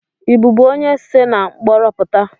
Ị bụbu onye se na mkporo puta?